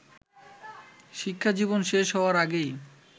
শিক্ষাজীবন শেষ হওয়ার আগেই